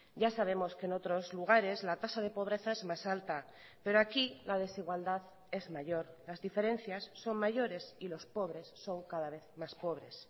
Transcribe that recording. ya sabemos que en otros lugares la tasa de pobreza es más alta pero aquí la desigualdad es mayor las diferencias son mayores y los pobres son cada vez más pobres